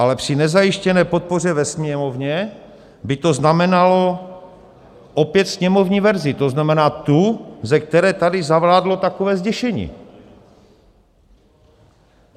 Ale při nezajištěné podpoře ve Sněmovně by to znamenalo opět sněmovní verzi, to znamená tu, ze které tady zavládlo takové zděšení.